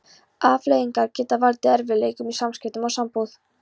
Afleiðingarnar geta valdið erfiðleikum í samskiptum og sambúð.